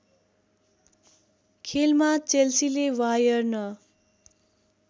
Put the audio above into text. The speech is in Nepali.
खेलमा चेल्सीले वायर्न